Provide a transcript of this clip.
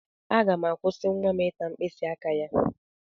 Aga m ga-akwụsị nwa m ịta mkpịsị aka ya.